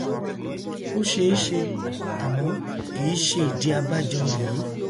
ó ṣeéṣe àmọ kìí ṣe ìdí abájọ rèé